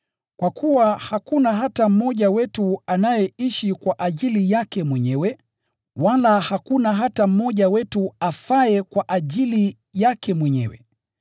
Kwa kuwa hakuna hata mmoja wetu anayeishi kwa ajili yake mwenyewe, wala hakuna hata mmoja wetu afaye kwa ajili yake mwenyewe.